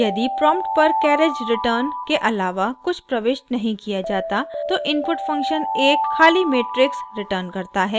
यदि प्रॉम्प्ट पर carriage return के आलावा कुछ प्रविष्ट नहीं किया जाता तो इनपुट फंक्शन एक खाली मेट्रिक्स रिटर्न करता है